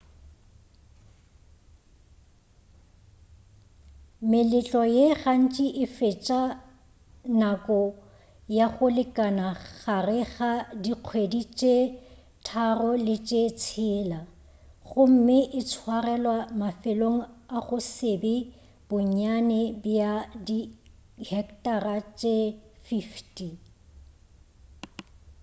meletlo ye gantši e fetša nako ya go lekana gare ga dikgwedi tše tharo le tše tshela gomme e tswarelwa mafelong a go se be bonnyane bja di hectara tše 50